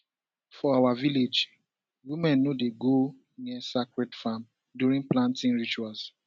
for our village women no go near sacred farm during planting rituals